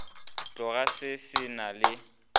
tloga se se na le